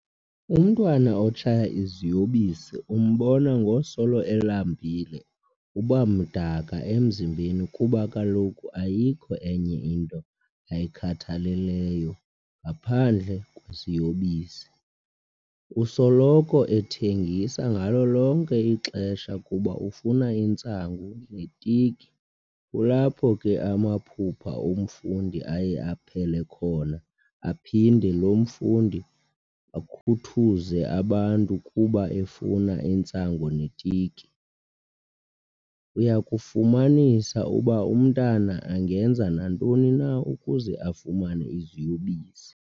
Umntwana otshaya iziyobisi umbona ngosolo elambile ,uba mdaka emzimbeni kuba kaloku ayikho enye into ayikhathaleleyo ngaphandle kweziyobisi. Usoloko ethengisa ngalo lonke ixesha kuba ufuna intsangu ne tiki kulapho ke amaphupha omfundi aye aphele khona aphinde lomfundi akhuthuze abantu kuba efuna intsangu ne tiki. Uyakufumanisa uba umntana angenza nantoni na ukuze afumane iziyobisi.